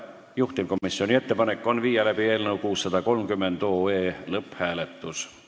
Juhtivkomisjoni ettepanek on panna eelnõu 630 lõpphääletusele.